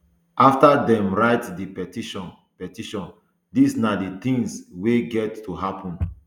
afta dem write di petition petition dis na di tins wey get to happun